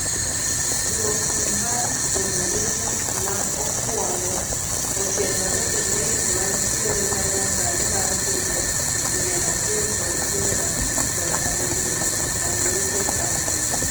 Duoko mar simulations maokwongo otenore e LAYS mantiere ma nyasani mar pinje mia achiel kod piero abich kod abirio (unweighted average).